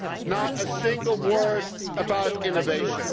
Not a single word about innovation.